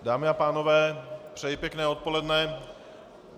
Dámy a pánové, přeji pěkné odpoledne.